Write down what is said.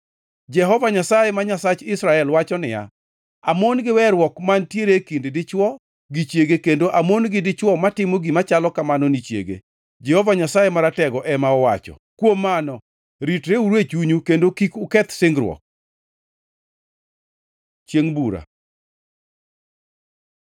Jehova Nyasaye, ma Nyasach Israel wacho niya, “Amon gi weruok mantiere e kind dichwo gi chiege kendo amon gi dichwo matimo gima chalo kamano ni chiege,” Jehova Nyasaye Maratego ema owacho. Kuom mano, ritreuru e chunyu kendo kik uketh singruok. Chiengʼ bura